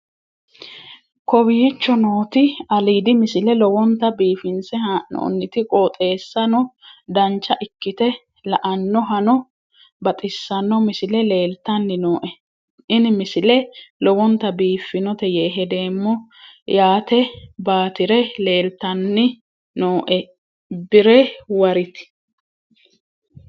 kowicho nooti aliidi misile lowonta biifinse haa'noonniti qooxeessano dancha ikkite la'annohano baxissanno misile leeltanni nooe ini misile lowonta biifffinnote yee hedeemmo yaatebaatire leeltanni nooe birewariti